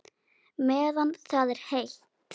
Meðan það er heitt.